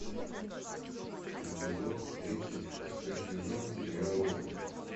эпизод тридцать шестой сезон сериала офис